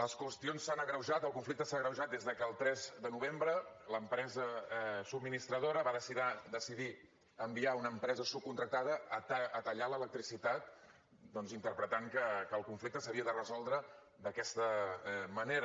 les qüestions s’han agreujat el conflicte s’ha agreujat des que el tres de novembre l’empresa subministradora va decidir enviar una empresa subcontractada a tallar l’electricitat doncs interpretant que el conflicte s’havia de resoldre d’aquesta manera